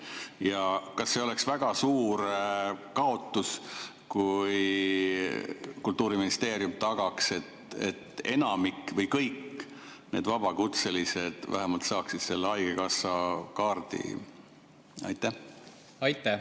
Ja kas oleks väga suur kaotus, kui Kultuuriministeerium tagaks, et enamik vabakutselistest või nad kõik saaksid vähemalt selle haigekassakaardi?